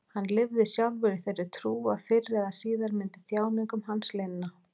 Hann lifði sjálfur í þeirri trú að fyrr eða síðar myndi þjáningum hans linna.